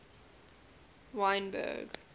wynberg